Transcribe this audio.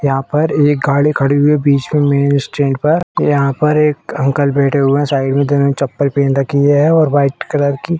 यहाँ पर एक गाड़ी खड़ी हुई है बीच में मेन स्टैंड पर यहाँ पर एक अंकल बैठे हुए हैं साइड में जिन्होंने चप्पल पहन रखी है और व्हाइट कलर की --